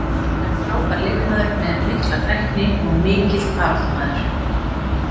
Hann er frábær leikmaður með mikla tækni og mikill baráttumaður.